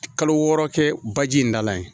Kalo wɔɔrɔ kɛ baji in da la yen